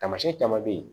Taamasiyɛn caman bɛ ye